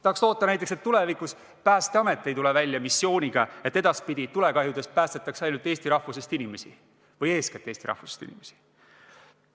Tahaks loota, näiteks, et tulevikus Päästeamet ei tule välja missiooniga, et edaspidi tulekahjudest päästetakse ainult eesti rahvusest inimesi või eeskätt eesti rahvusest inimesi.